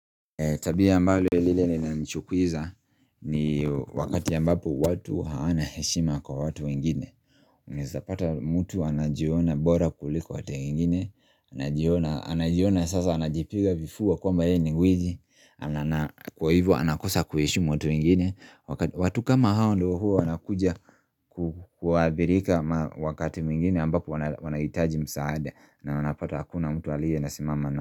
Tabia ambalo lile lina nchukuiza ni wakati ambapo watu hawana heshima kwa watu wengine Naezapata mutu anajiona bora kuliko watu wengine Anajiona sasa anajipiga vifua kwamba yeye ni gwiji Kwa hivyo anakosa kuheshimu watu wengine watu kama hao ndo hua wanakuja kuadhirika wakati mwingine ambapo wanahitaji msaada na wanapata hakuna mtu aliye na simama na.